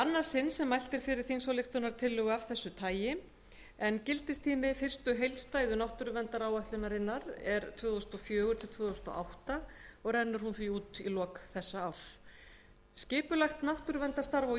annað sinn sem mælt er fyrir þingsályktunartillögu af þessu tagi en gildistími fyrstu heildstæðu náttúruverndaráætlunar er tvö þúsund og fjögur til tvö þúsund og átta og rennur því út í lok þessa árs skipulagt náttúruverndarstarf á